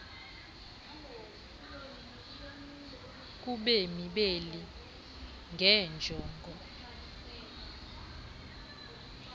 kubemi beli ngeenjongo